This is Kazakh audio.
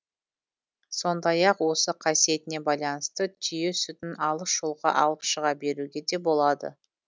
сондай ақ осы қасиетіне байланысты түйе сүтін алыс жолға алып шыға беруге де болады